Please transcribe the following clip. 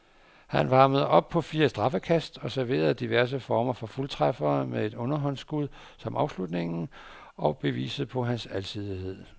Han varmede op på fire straffekast og serverede diverse former for fuldtræffere med et underhåndsskud som afslutningen og beviset på hans alsidighed.